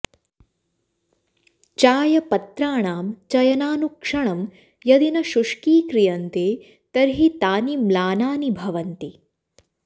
चायपत्राणां चयनानुक्षणं यदि न शुष्कीक्रियन्ते तर्हि तानि म्लानानि भवन्ति